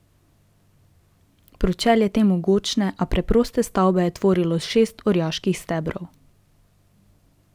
Pročelje te mogočne, a preproste stavbe je tvorilo šest orjaških stebrov.